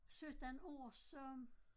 17 år så